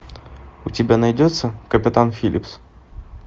у тебя найдется капитан филлипс